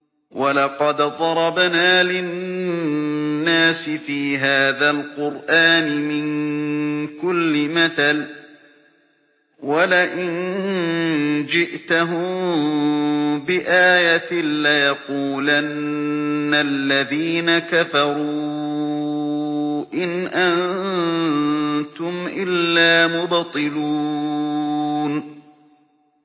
وَلَقَدْ ضَرَبْنَا لِلنَّاسِ فِي هَٰذَا الْقُرْآنِ مِن كُلِّ مَثَلٍ ۚ وَلَئِن جِئْتَهُم بِآيَةٍ لَّيَقُولَنَّ الَّذِينَ كَفَرُوا إِنْ أَنتُمْ إِلَّا مُبْطِلُونَ